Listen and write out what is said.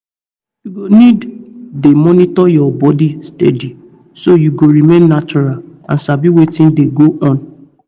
you go need dey monitor your body steady so you go remain natural and sabi wetin dey go on